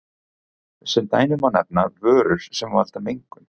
Sem dæmi má nefna vörur sem valda mengun.